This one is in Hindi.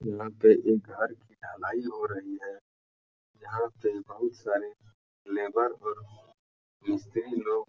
यहाँ पे एक घर की ढलाई हो रही है। यहाँ पे बहुत सारे लेबर और मिस्त्री लोग --